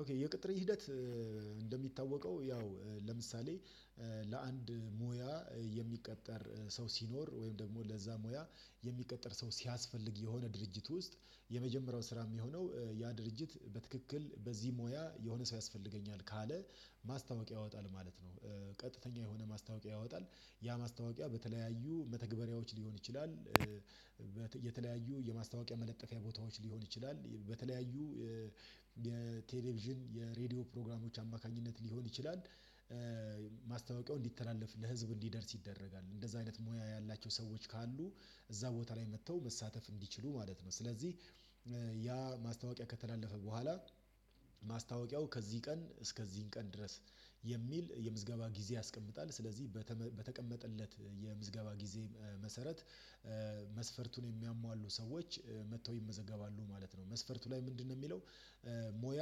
ኦኬ የቅጥር ሂደት እንደሚታወቀው ያው ለምሳሌ ለአንድ ሙያ የሚቀጠር ሰው ሲኖር ወይም ደግሞ ለዛ ሙያ የሚቀጥር ሰው ሲያስፈልግ የሆነ ድርጅት ውስጥ የመጀመሪያው ስራ የሚሆነው ያ ድርጅት በትክክል በዚህ ሙያ የሆነ ሰው ያስፈልገኛል ካለ ማስታወቂያ ያወጣል ማለት ነው። ቀጥተኛ የሆነ ማስታወቂያ ያወጣል ያ ማስታወቂያ በተለያዩ መተግበሪያዎች ሊሆን ይችላል። የተለያዩ የማስታወቂያ መለጠፊያ ቦታዎች ሊሆን ይችላል በተለያዩ የቴሌቪዥን የሬዲዮ ፕሮግራሞች አማካኝነት ሊሆን ይችላል። ማስታወቂያው እንዲተላለፍ ለህዝብ እንዲደርስ ይደረጋል እንደዛ አይነት ሙያ ያላቸው ሰዎች ካሉ እዛ ቦታ ላይ መጥተው መሳተፍ እንዲችሉ ማለት ነው። ስለዚህ ያ ማስታወቂያ ከተላለፈ በኋላ ማስታወቂያው ከዚህ ቀን እስከዚህን ቀን ድረስ የሚል የምዝገባ ጊዜ ያስቀምጣል። ስለዚህ በተቀመጠለት የምዝገባ ጊዜ መሰረት መስፈርቱን የሚያሟሉ ሰዎች መጥተው ይመዘገባሉ ማለት ነው። መስፈርቱ ላይ ምንድነው? የሚለው ሙያ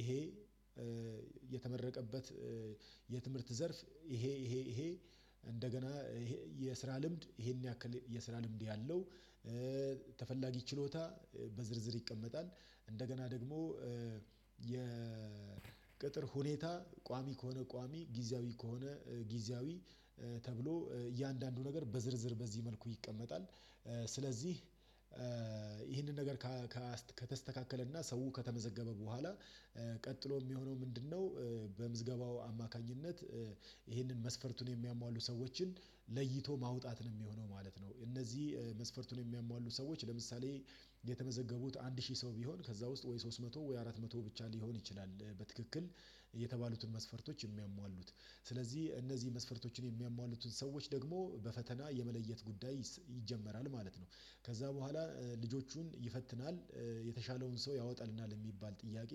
ይሄ የተመረቀበት የትምህርት ዘርፍ ይሄ ይሄ ይሄ እንደገና ይሄ የስራ ልምድ ይሄን ያክል የስራ ልምድ ያለው ተፈላጊ ችሎታ በዝርዝር ይቀመጣል እንደገና ደግሞ የቅጥር ሁኔታ ቋሚ ከሆነ ቋሚ ጊዜያዊ ከሆነ ጊዜያዊ ተብሎ እያንዳንዱ ነገር በዝርዝር በዚህ መልኩ ይቀመጣል። ስለዚህ ይህንን ነገር ከተስተካከለና ሰው ከተመዘገበ በኋላ ቀጥሎ የሚሆነው ምንድነው? አማካኝነት ይሄንን መስፈርቱን የሚያሟሉ ሰዎችን ለይቶ ማውጣት ነው የሚሆነው ማለት ነው። እነዚህ መስፈርቱን የሚያሟሉ ሰዎች ለምሳሌ የተመዘገቡት አንድ ሺህ ሰው ቢሆን ከዛ ውስጥ ወይ ሶስት መቶ ወይ አራት መቶ ብቻ ሊሆን ይችላል። በትክክል የተባሉትን መስፈርቶች የሚያሟሉት ስለዚህ እነዚህ መስፈርቶችን የሚያሟሉትን ሰዎች ደግሞ በፈተና የመለየት ጉዳይ ይጀመራል ማለት ነው። ከዛ በኋላ ልጆቹን ይፈትናል የተሻለውን ሰው ያወጣልናል የሚባል ጥያቄ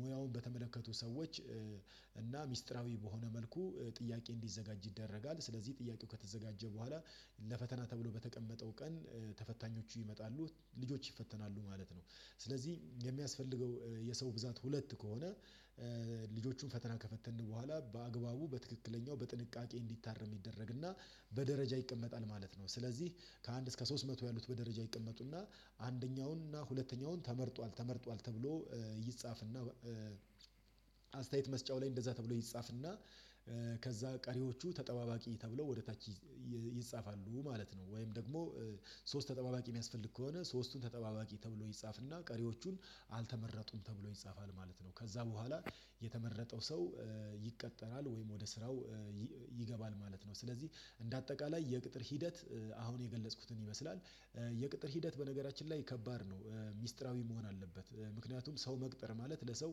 ሙያውን በተመለከቱ ሰዎች እና ሚስጥራዊ በሆነ መልኩ ጥያቄ እንዲዘጋጅ ይደረጋል። ስለዚህ ጥያቄው ከተዘጋጀ በኋላ ለፈተና ተብሎ በተቀመጠው ቀን ተፈታኞቹ ይመጣሉ ልጆች ይፈተናሉ ማለት ነው። ስለዚህ የሚያስፈልገው የሰው ብዛት ሁለት ከሆነ ልጆቹን ፈተና ከፈተንን በኋላ በአግባቡ በትክክለኛው በጥንቃቄ እንዲታረም ይደረግና በደረጃ ይቀመጣል ማለት ነው። ስለዚህ ከአንድ እስከ ሶስት መቶ ያሉት በደረጃ ይቀመጡና አንደኛውን እና ሁለተኛውን ተመርጧል ተመርጧል ተብሎ ይጻፍና አስተያየት መስጫው ላይ እንደዛ ተብሎ ይጻፍና ከዛ ቀሪዎቹ ተጠባባቂ ተብሎ ወደ ታች ይጻፋሉ ማለት ነው። ወይም ደግሞ ሶስት ተጠባባቂ የሚያስፈልግ ከሆነ ሶስቱን ተጠባባቂ ተብሎ ይጻፍና ቀሪዎቹን አልተመረጡም ተብሎ ይጻፋል ማለት ነው። ከዛ በኋላ የተመረጠው ሰው ይቀጠራል ወይም ወደ ስራው ይገባል ማለት ነው። ስለዚህ እንደ አጠቃላይ የቅጥር ሂደት አሁን የገለጽኩትን ይመስላል። የቅጥር ሂደት በነገራችን ላይ ነው ሚስጥራዊ መሆን አለበት ምክንያቱም ሰው መቅጠር ማለት ለሰው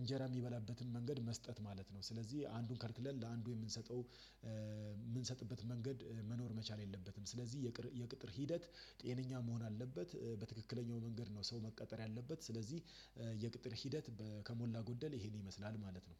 እንጀራ የሚበላበትን መንገድ መስጠት ማለት ነው። ስለዚህ አንዱን ከልክለን ለአንዱ የምንሰጠው የምንሰጥበት መንገድ መኖር መቻል የለበትም። ስለዚህ የቅጥር ሂደት ጤነኛ መሆን አለበት። በትክክለኛው መንገድ ነው ሰው መቅጠር ያለበት ስለዚህ የቅጥር ሂደት ከሞላ ጎደል ይሄን ይመስላል ማለት ነው።